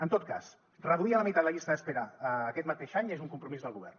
en tot cas reduir a la meitat la llista d’espera aquest mateix any és un compromís del govern